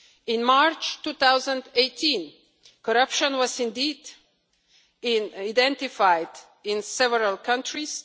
In March 2018, corruption was indeed identified in several countries.